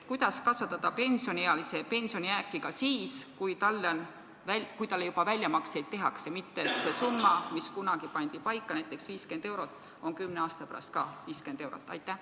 Kuidas kasvatada pensioniealise pensionijääki ka siis, kui talle juba väljamakseid tehakse, et see summa, mis kunagi paika pandi, näiteks 50 eurot, poleks kümne aasta pärast endiselt 50 eurot?